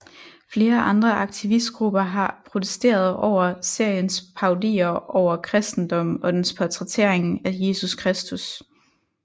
Flere andre aktivistgrupper har protesteret over seriens parodier over kristendom og dens portrættering af Jesus Kristus